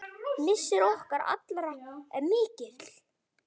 Missir okkar allra er mikill.